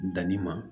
Danni ma